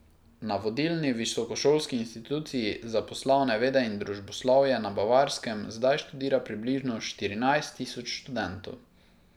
Na vodilni visokošolski instituciji za poslovne vede in družboslovje na Bavarskem zdaj študira približno štirinajst tisoč študentov.